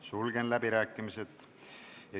Sulgen läbirääkimised.